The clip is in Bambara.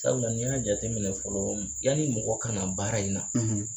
Sabula n i y'a jate minɛ fɔlɔ yani mɔgɔ kana baara in na